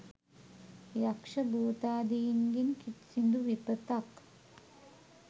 යක්ෂ භූතාදීන්ගෙන් කිසිදු විපතක්